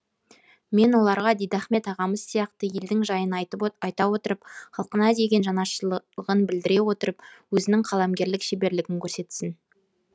мен оларға дидахмет ағамыз сияқты елдің жайын айта отырып халқына деген жанашырлығын білдіре отырып өзінің қаламгерлік шеберлігін көрсетсін